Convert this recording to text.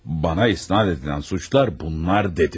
Mənə isnad edilən suçlar bunlar dedim.